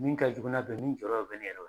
Min ka jugu n'a bɛɛ ye min jɔɔrɔ le bɛ